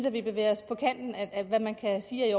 at vi bevæger os på kanten af hvad man kan sige er i